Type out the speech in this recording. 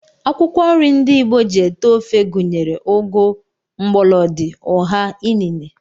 Akwụkwọ nri ndị Igbo ji ete ofe gụnyere ụgụ, mgbọlọdị, ụha, inine